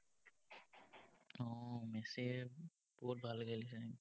উম মেছিয়ে বহুত ভাল খেলিছে।